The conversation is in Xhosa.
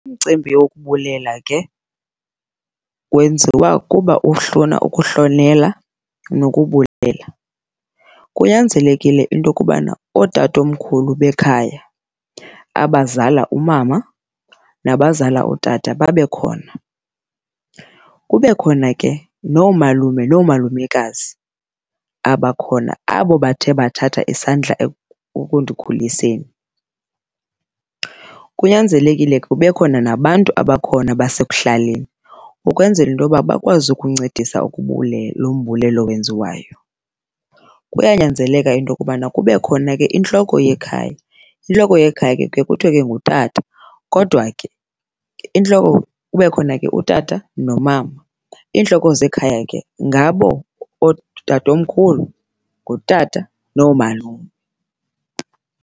Umcimbi wokubulela ke wenziwa kuba ukuhlonela nokubulela. Kunyanzelekile into yokubana ootatomkhulu bekhaya abazala umama nabazali utata babe khona. Kube khona ke noomalume noomalumekazi abakhona abo bathe bathatha isandla ukundikhuliseni. Kunyanzelekile ke kube khona nabantu abakhona basekuhlaleni ukwenzela into yoba bakwazi ukuncedisa lo mbulelo wenziwayo. Kuyanyanzeleka into yokubana kube khona ke intloko yekhaya, intloko yekhaya ke kuye kuthiwe ke ngutata kodwa ke intloko kube khona ke utata nomama. Iintloko zekhaya ke ngabo ootatomkhulu, ngutata, noomalume.